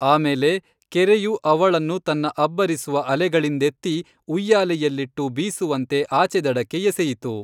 ಆಮೇಲೆ ಕೆರೆಯು ಅವಳನ್ನು ತನ್ನ ಅಬ್ಬರಿಸುವ ಅಲೆಗಳಿಂದೆತ್ತಿ ಉಯ್ಯಾಲೆಯಲ್ಲಿಟ್ಟು ಬೀಸುವಂತೆ ಆಚೆದಡಕ್ಕೆ ಎಸೆಯಿತು.